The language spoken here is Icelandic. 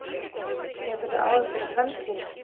Hefurðu áhyggjur af framtíðinni?